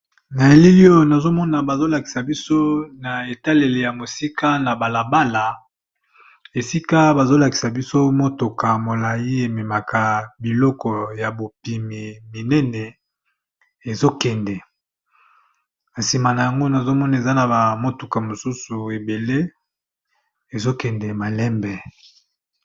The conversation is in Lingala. Na elili oyo nazomona bazo lakisa biso na etaleli ya mosika na bala bala esika bazo lakisa biso motuka molai ememaka biloko ya bopimi minene ezo kende, na sima na yango nazomona eza na ba motuka mosusu ebele ezo kende malembe.